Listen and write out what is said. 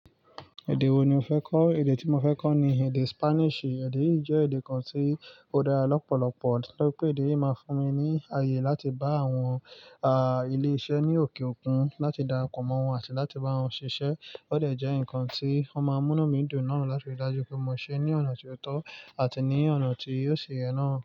Èdè wo ni o fẹ́ kọ́? Èdè tí mo fẹ́ kọ́ ni èdè Spanish. Èdè yìí jẹ́ èdè kan tí ó dára lọ́pọ̀lọpọ̀, torí pé èdè yìí máa fún mi ní àyè láti bá àwọn ah ilé iṣẹ́ ní òkè òkun láti darapọ̀ mọ́ wọn àti láti bá wọn ṣiṣẹ́. Ó dà jẹ́ nǹkan tí wọ́n máa mú nu mìí dun na láti rí i dájú pé mo ṣe é ní ọ̀nà tó tọ́ àti ní ọ̀nà tí óò si yẹ náà.